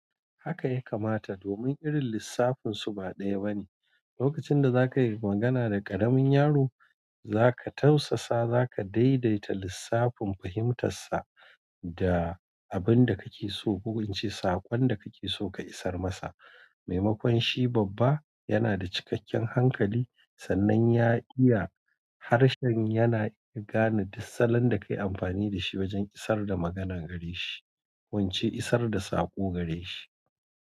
Haka ya kamata domin irin lissafin su ba ɗaya bane. Lokacin da za ka yi magana da ƙaramin yaro, za ka tausasa, za ka daidaita lissafin fahimtarsa da abin da kake so ko kace saƙon da kake so ka isar masa. Maimakon shi babba yana da cikakken hankali sannan ya iya harshen yana iya gane, duk salon da ka yi amfani da shi wajen isar da maganar gare shi, ko ince isar da saƙo gare shi.